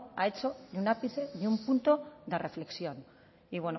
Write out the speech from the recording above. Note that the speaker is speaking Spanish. ha hecho ni un ápice ni un punto de reflexión y